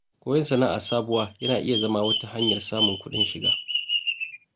Koyon sana’a sabuwa yana iya zama wata hanyar samun kuɗin shiga.